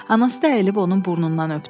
Anası da əyilib onun burnundan öpdü.